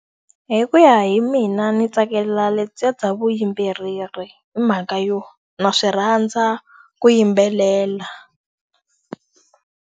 Hi ku ya hi mina ndzi tsakela lebyiya bya vuyimbeleri hi mhaka yo, ndza swi rhandza ku yimbelela.